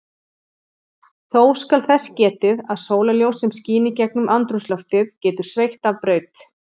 Þó skal þess getið að sólarljós sem skín í gegnum andrúmsloftið getur sveigt af braut.